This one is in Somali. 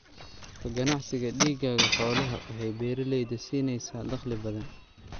Ka ganacsiga digaagga xoolaha waxay beeralayda siinaysaa dakhli badan.